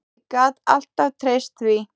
Ég gat alltaf treyst því.